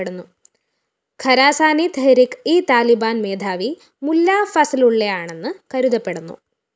ഖരാസാനി തെഹ്‌രിക് ഇ താലിബാന്‍ മേധാവി മുല്ലാ ഫസലുള്ളയാണെന്നു കരുതപ്പെടുന്നു